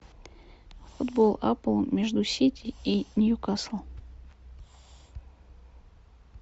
футбол апл между сити и ньюкасл